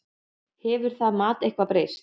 Hefur það mat eitthvað breyst?